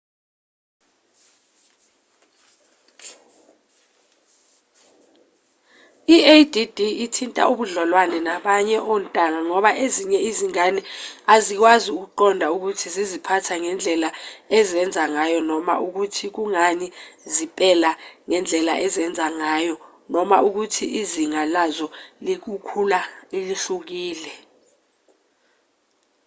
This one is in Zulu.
i-add ithinta ubudlelwane nabanye ontanga ngoba ezinye izingane azikwazi ukuqonda ukuthi ziziphatha ngendlela ezenza ngayo noma ukuthi kungani zipela ngendlela ezenza ngayo noma ukuthi izinga lazo lokukhula lihlukile